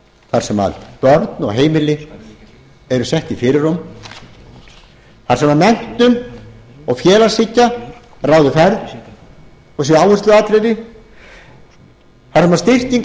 þar sem börn og heimili eru sett í fyrirrúm þar sem menntun og félagshyggja ráði ferð og sé áhersluatriði þar sem styrking